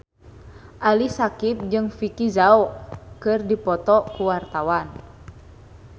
Ali Syakieb jeung Vicki Zao keur dipoto ku wartawan